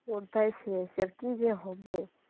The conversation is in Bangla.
কোথায় শেষ আর কি আর কি যে হবে,